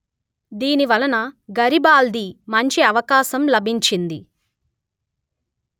దీని వలన గరిబాల్ది మంచి అవకాశం లభించింది